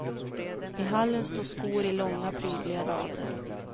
I hallen står skor i långa, prydliga rader.